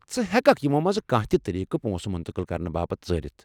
ژٕ ہٮ۪ککھ یمو منٛزٕ کانہہ تہِ طریٖقہٕ پونٛسہٕ منتقل كرنہٕ باپت ژٲرِتھ ۔